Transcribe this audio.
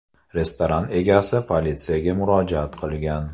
Restoran egasi politsiyaga murojaat qilgan.